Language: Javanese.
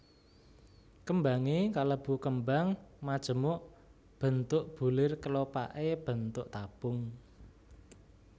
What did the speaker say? Kembangé kalebu kembang majemuk bentuk bulir kelopaké bentuk tabung